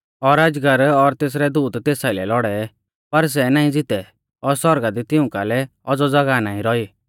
पर सै नाईं ज़ितै और सौरगा दी तिऊं कालै औज़ौ ज़ागाह नाईं रौई